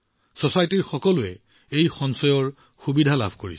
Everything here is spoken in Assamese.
ছচাইটিৰ সকলো মানুহে এই সঞ্চয়ৰ সুবিধা লাভ কৰিছে